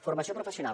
formació professional